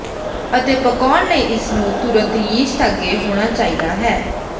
ਅਤੇ ਪਕਾਉਣ ਲਈ ਇਸ ਨੂੰ ਤੁਰੰਤ ਯੀਸਟ ਅੱਗੇ ਹੋਣਾ ਚਾਹੀਦਾ ਹੈ